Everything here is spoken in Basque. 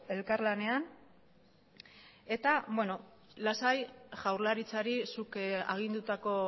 elkarlanean eta lasai jaurlaritzari zuk agindutako